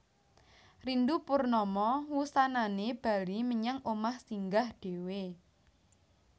Rindu Purnama wusanané bali menyang omah Singgah dhéwé